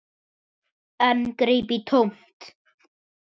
En greip í tómt.